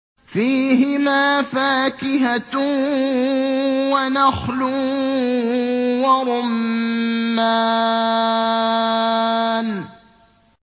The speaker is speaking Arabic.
فِيهِمَا فَاكِهَةٌ وَنَخْلٌ وَرُمَّانٌ